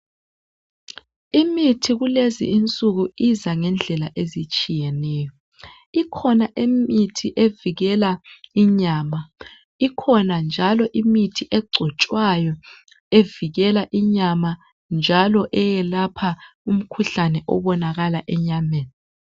imithi kulezinsuku iza ngendlela ezitshiyeneyo ikhona imithi evikela inyama ikhona njalo imithi egcotshwayo evikela inyama njalo elapha umkhuhlane obonakala enyameni